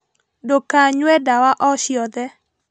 Ndũkanyue ndawa o ciothe